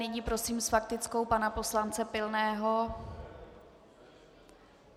Nyní prosím s faktickou pana poslance Pilného.